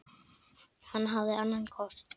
Hann hafði annan kost.